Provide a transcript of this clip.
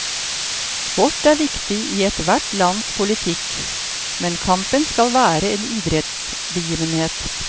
Sport er viktig i ethvert lands politikk, men kampen skal være en idrettsbegivenhet.